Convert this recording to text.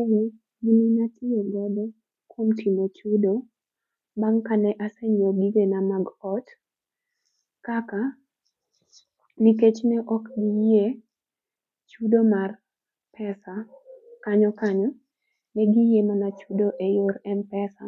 Eee gini natiyo godo kuom timo chudo, bang' kane asenyiew gigena mag ot, kaka, nikech ne ok giyie chudo mar pesa kanyo kanyo. Negiyie mana chudo e yor m-pesa,